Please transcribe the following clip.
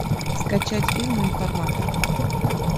скачать фильм информатор